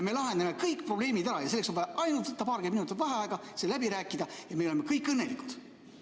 Me lahendame kõik probleemid ära ja selleks on vaja ainult võtta paarkümmend minutit vaheaega, see läbi rääkida ja me oleme kõik õnnelikud.